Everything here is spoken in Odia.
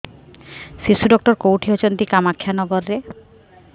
ଶିଶୁ ଡକ୍ଟର କୋଉଠି ଅଛନ୍ତି କାମାକ୍ଷାନଗରରେ